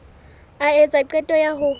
a etsa qeto ya ho